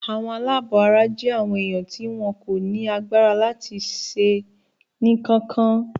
Àwọn aláàbọ̀ara jẹ́ àwọn èèyàn tí wọn kò ní agbára láti ṣe ń kankan.